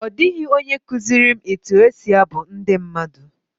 Nobody taught me how to sing folk songs.